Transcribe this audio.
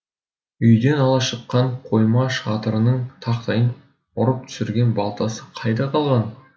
үйден ала шыққан қойма шатырының тақтайын ұрып түсірген балтасы қайда қалған